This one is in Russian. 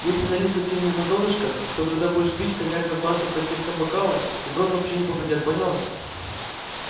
если налить совсем не на донышко то когда будешь пить коньяк размажется по стенкам бокала и в рот вообще не попадёт поняла